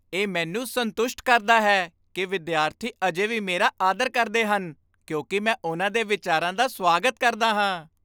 ਇਹ ਮੈਨੂੰ ਸੰਤੁਸ਼ਟ ਕਰਦਾ ਹੈ ਕਿ ਵਿਦਿਆਰਥੀ ਅਜੇ ਵੀ ਮੇਰਾ ਆਦਰ ਕਰਦੇ ਹਨ ਕਿਉਂਕਿ ਮੈਂ ਉਨ੍ਹਾਂ ਦੇ ਵਿਚਾਰਾਂ ਦਾ ਸਵਾਗਤ ਕਰਦਾ ਹਾਂ।